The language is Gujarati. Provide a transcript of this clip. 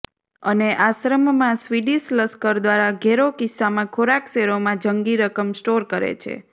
અને આશ્રમ માં સ્વિડીશ લશ્કર દ્વારા ઘેરો કિસ્સામાં ખોરાક શેરોમાં જંગી રકમ સ્ટોર કરે છે